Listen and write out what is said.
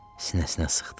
Sinəsinə sıxdı.